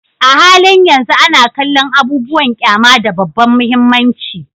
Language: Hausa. A halin yanzu ana kallon abubuwan ƙyama da babban mahimmanci